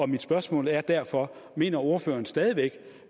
mit spørgsmål er derfor mener ordføreren stadig væk